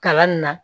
Kalan nin na